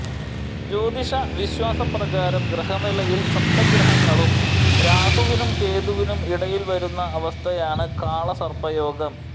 ജ്യോതിഷ വിശ്വാസ പ്രകാരം ഗ്രഹനിലയിൽ സപ്തഗ്രഹങ്ങളും രാഹുവിനും കേതുവിനും ഇടയിൽ വരുന്ന അവസ്ഥയാണ് കാളസർപ്പയോഗം